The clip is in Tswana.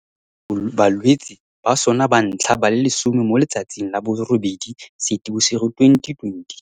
Bo amogetse balwetse ba sona ba ntlha ba le 10 mo letsatsing la bo 8 Seetebosigo 2020.